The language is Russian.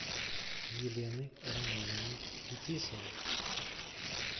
елены романовны фетисовой